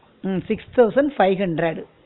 um six thousand five hundred